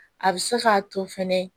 A bɛ se k'a to fɛnɛ